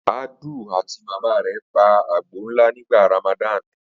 Adu àti bàbá rẹ̀ pa àgbò ńlá nígbà Ramadan?